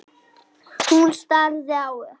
Hún starði á þetta.